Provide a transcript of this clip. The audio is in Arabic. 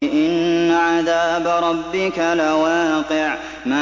إِنَّ عَذَابَ رَبِّكَ لَوَاقِعٌ